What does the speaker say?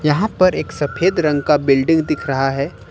यहां पर एक सफेद रंग का बिल्डिंग दिख रहा है।